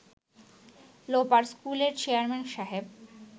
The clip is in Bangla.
লোপার স্কুলের চেয়ারম্যান সাহেব